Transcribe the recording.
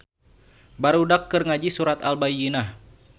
Barudak keur ngaji surat Al-bayyinah